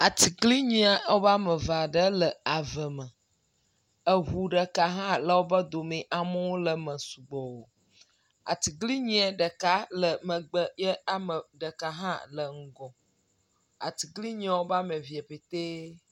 Atsiglinyi e ɔbe ameveaɖe le eve me, eʋu ɖeka hã le wóƒe domi Amewo leme sugbɔɔ, atsiglinyie ɖeka le megbe ye ame ɖeka hã le ŋgɔ, atsiglinyia wobe ameve pɛtɛɛ